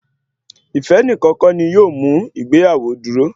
Ife nìkan kọ́ ni yóò mú ìgbéyàwó dúró